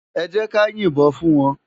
Èjèká yin bòn fún wán